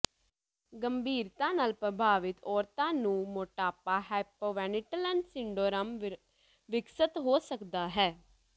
ਗੰਭੀਰਤਾ ਨਾਲ ਪ੍ਰਭਾਵਿਤ ਔਰਤਾਂ ਨੂੰ ਮੋਟਾਪਾ ਹਾਈਪੋਵੈਨਟਿਲਨ ਸਿੰਡਰੋਮ ਵਿਕਸਤ ਹੋ ਸਕਦਾ ਹੈ